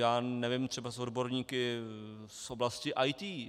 Já nevím, třeba s odborníky z oblasti IT.